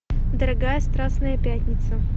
дорогая страстная пятница